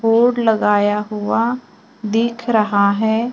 Board लगाया हुआ दिख रहा है।